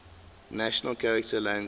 national charter lang ar